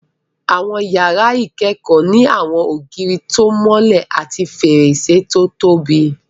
Àwọn iyàrá ìkẹ́kọ̀ọ́ ní àwọn ògiri tó mọ́lẹ̀ àti fèrèsé tó tóbi